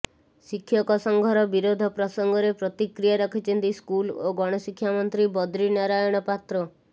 ଶିକ୍ଷକ ସଂଘର ବିରୋଧ ପ୍ରସଙ୍ଗରେ ପ୍ରତିକ୍ରିୟା ରଖିଛନ୍ତି ସ୍କୁଲ ଓ ଗଣଶିକ୍ଷା ମନ୍ତ୍ରୀ ବଦ୍ରି ନାରାୟଣ ପାତ୍ର